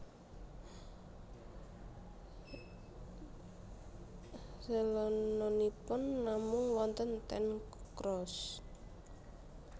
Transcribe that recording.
Celononipun namung wonten ten Croozt